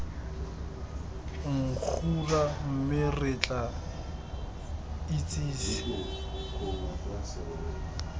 nggura mme re tla itsise